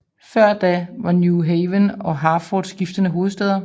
Før da var New Haven og Hartford skiftende hovedstæder